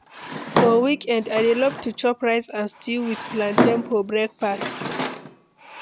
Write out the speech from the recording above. For weekend, I dey love to chop rice and stew with plantain for breakfast.